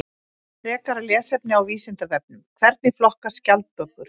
Frekara lesefni á Vísindavefnum: Hvernig flokkast skjaldbökur?